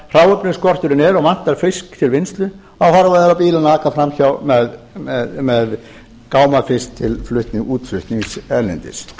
hráefnisskorturinn er og vantar fisk til vinnslu þá horfa þeir á bílana aka fram hjá með gámafisk til útflutnings erlendis